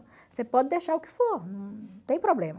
Você pode deixar o que for, não tem problema.